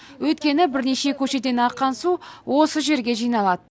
өйткені бірнеше көшеден аққан су осы жерге жиналады